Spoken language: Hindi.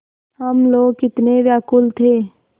हम लोग कितने व्याकुल थे